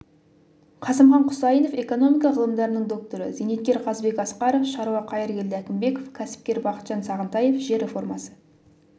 қасымхан құсайынов экономика ғылымдарының докторы зейнеткер қазыбек асқаров шаруа қайыргелді әкімбеков кәсіпкер бақытжан сағынтаев жер реформасы